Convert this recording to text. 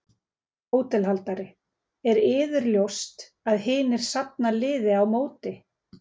HÓTELHALDARI: Er yður ljóst að hinir safna liði á móti.